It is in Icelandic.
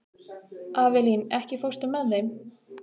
Avelín, ekki fórstu með þeim?